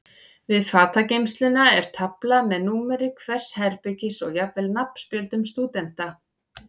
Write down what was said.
Við fatageymsluna er tafla með númeri hvers herbergis og jafnvel nafnspjöldum stúdenta.